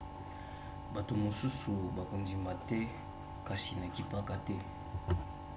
bato mosusu bakondima te kasi nakipaka te